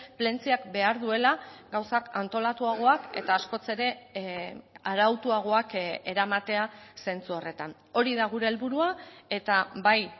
plentziak behar duela gauzak antolatuagoak eta askoz ere arautuagoak eramatea zentzu horretan hori da gure helburua eta bai